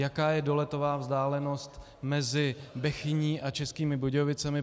Jaká je doletová vzdálenost mezi Bechyní a Českými Budějovicemi.